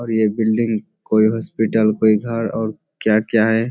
और ये बिल्डिंग कोई हॉस्पिटल पे घर और क्या-क्या है।